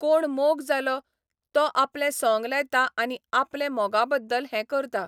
कोणा मोग जालो, तो आपलें सोंग लायता आनी आपलें मोगा बद्दल हें करता.